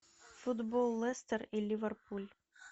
футбол лестер и ливерпуль